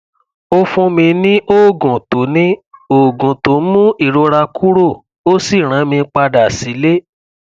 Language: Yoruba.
ó fún mi ní oògùn tó ní oògùn tó ń mú ìrora kúrò ó sì rán mi padà sílé